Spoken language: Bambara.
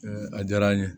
a diyara n ye